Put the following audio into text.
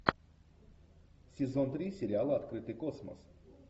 сезон три сериала открытый космос